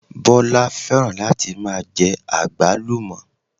Bọ́lá fẹ́ràn láti máa jẹ àgbálùmọ̀